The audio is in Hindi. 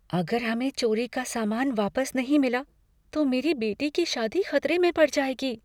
अगर हमें चोरी का सामान वापस नहीं मिला तो मेरी बेटी की शादी खतरे में पड़ जाएगी।